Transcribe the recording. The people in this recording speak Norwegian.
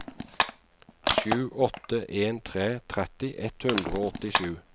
sju åtte en tre tretti ett hundre og åttisju